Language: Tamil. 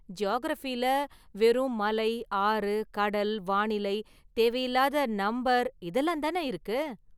ஜியாகிரஃபில வெறும் மலை, ஆறு, கடல், வானிலை, தேவையில்லாத​ நம்பர் இதெல்லாம் தானே இருக்கு.